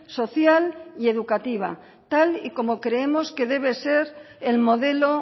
social y educativa tal y como creemos que debe ser el modelo